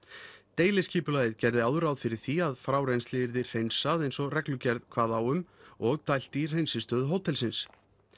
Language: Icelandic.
deiliskipulagið gerði áður ráð fyrir því að frárennsli yrði hreinsað eins og reglugerð kvað á um og dælt í hreinsistöð hótelsins